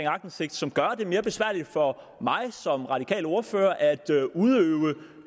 aktindsigt som gør det mere besværligt for mig som radikal ordfører at udøve den